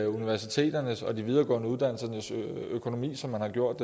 universiteternes og de videregående uddannelsers økonomi som man har gjort